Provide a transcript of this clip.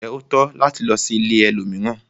Njé o tọ́ láti lò sí ìlẹ̀ ẹlòmíràn?